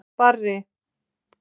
Barri